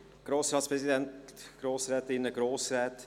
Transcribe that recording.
Herr Volkswirtschaftsdirektor, Sie haben das Wort.